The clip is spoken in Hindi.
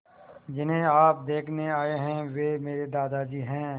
जिन्हें आप देखने आए हैं वे मेरे दादाजी हैं